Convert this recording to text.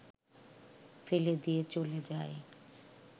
ফেলে দিয়ে চলে যায়